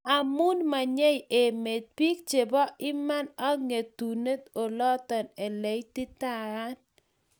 Amu menyei emet `piik che po iman, ak ng'etune olooto che ititaatiin.